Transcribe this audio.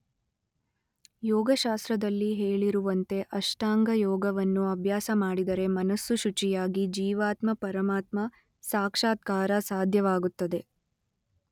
ಯೋಗಶಾಸ್ತ್ರದಲ್ಲಿ ಹೇಳಿರುವಂತೆ ಅಷ್ಟಾಂಗಯೋಗವನ್ನು ಅಭ್ಯಾಸ ಮಾಡಿದರೆ ಮನಸ್ಸು ಶುಚಿಯಾಗಿ ಜೀವಾತ್ಮ ಪರಮಾತ್ಮ ಸಾಕ್ಷಾತ್ಕಾರ ಸಾಧ್ಯವಾಗುತ್ತದೆ.